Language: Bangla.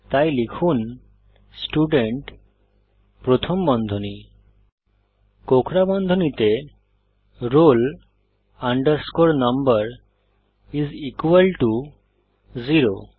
তাই লিখুন স্টুডেন্ট প্রথম বন্ধনী কোঁকড়া বন্ধনীতে roll number is equal to 0